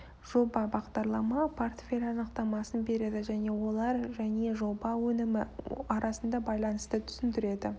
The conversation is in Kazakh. жоба бағдарлама портфель анықтамасын береді және олар және жоба өнімі арасында байланысты түсіндіреді